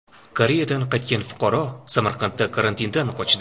Koreyadan qaytgan fuqaro Samarqandda karantindan qochdi.